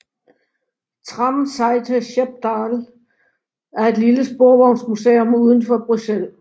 Tramsite Schepdaal er et lille sporvognsmuseum lidt udenfor Bruxelles